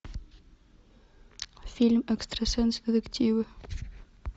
фильм экстрасенс детективы